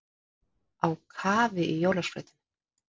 Á kafi í jólaskrautinu